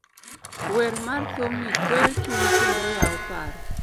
Wer mar thumni kweyo chuny kendo Yao paro